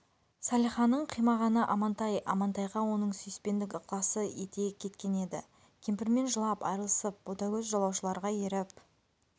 салиханың қимағаны амантай амантайға оның сүйіспендік ықласы ете кеткен еді кемпірмен жылап айрылысып ботагөз жолаушыларға еріп